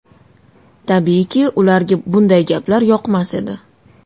Tabiiyki, ularga bunday gaplar yoqmas edi.